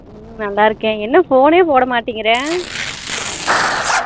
ஹம் நல்லா இருக்கேன் என்ன phone யே போட மாட்டுகிற